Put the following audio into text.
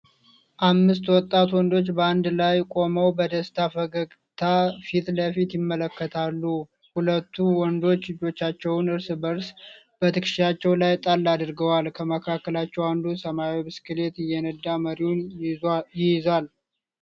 አምስት ወጣት ወንዶች በአንድ ላይ ቆመው በደስታ ፈገግታ ፊት ለፊት ይመለከታሉ። ሁለቱ ወንዶች እጆቻቸውን እርስ በእርስ በትከሻቸው ላይ ጣል አድርገዋል። ከመካከላቸው አንዱ ሰማያዊ ብስክሌት እየነዳ መሪውን ይይዛል።